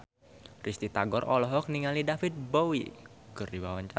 Risty Tagor olohok ningali David Bowie keur diwawancara